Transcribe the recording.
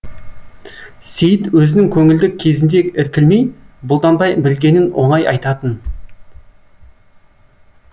сейіт өзінің көңілді кезінде іркілмей бұлданбай білгенін оңай айтатын